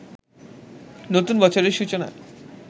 নতুন বছরের সূচনা